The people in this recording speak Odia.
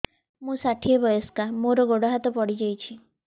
ମୁଁ ଷାଠିଏ ବୟସ୍କା ମୋର ଗୋଡ ହାତ ପଡିଯାଇଛି